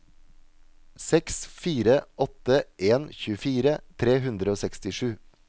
seks fire åtte en tjuefire tre hundre og sekstisju